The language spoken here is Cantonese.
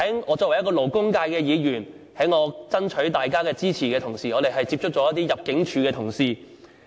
我是勞工界議員，在爭取大家支持的時候，接觸過一些入境處同事。